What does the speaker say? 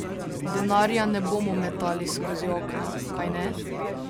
Denarja ne bomo metali skozi okno, kajne?